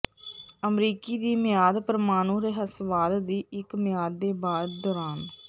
ਅਮਰੀਕੀ ਦੀ ਮਿਆਦ ਪ੍ਰਮਾਣੂ ਰਹੱਸਵਾਦ ਦੀ ਇੱਕ ਮਿਆਦ ਦੇ ਬਾਅਦ ਦੌਰਾਨ